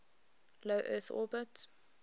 low earth orbit